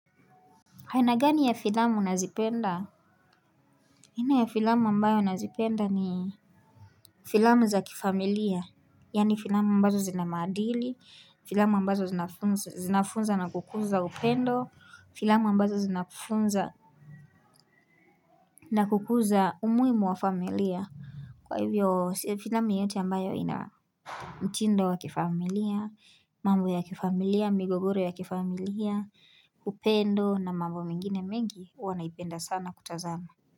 Haina gani ya filamu nazipenda? Hina ya filamu ambayo nazipenda ni Filamu za kifamilia Yani filamu ambazo zinamaadili Filamu ambazo zinafunza na kukuza upendo Filamu ambazo zinafunza na kukuza umuimu wa familia Kwa hivyo filamu yote ambayo ina mtindo wa kifamilia mambo ya kifamilia migogoro ya kifamilia upendo na mambo mingine mengi Wanaipenda sana kutazama.